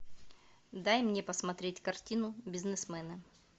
дай мне посмотреть картину бизнесмены